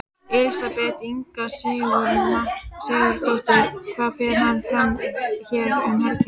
Elísabet Inga Sigurðardóttir: Hvað fer fram hér um helgina?